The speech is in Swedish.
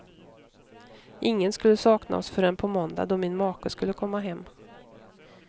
Ingen skulle sakna oss förrän på måndag, då min make skulle komma hem.